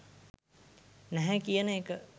නැහැ කියන එක.